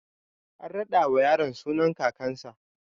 An raɗa wa yaro sunan kakan sa